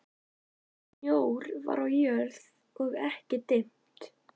Snjór var á jörð og ekki dimmt.